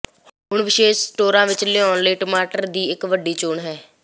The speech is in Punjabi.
ਹੁਣ ਵਿਸ਼ੇਸ਼ ਸਟੋਰਾਂ ਵਿੱਚ ਲਾਉਣਾ ਲਈ ਟਮਾਟਰ ਦੀ ਇੱਕ ਵੱਡੀ ਚੋਣ ਹੈ